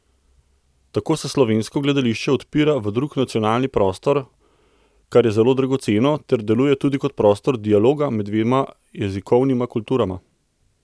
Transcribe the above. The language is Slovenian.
Tako se slovensko gledališče odpira v drug nacionalni prostor, kar je zelo dragoceno, ter deluje tudi kot prostor dialoga med dvema jezikovnima kulturama.